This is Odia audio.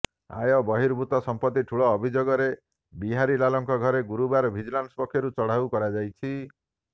ଆୟ ବହିର୍ଭୂତ ସମ୍ପତ୍ତି ଠୁଳ ଅଭିଯୋଗରେ ବିହାରିଲାଲଙ୍କ ଘରେ ଗୁରୁବାର ଭିଜିଲାନ୍ସ ପକ୍ଷରୁ ଚଢାଉ କରାଯାଇଛି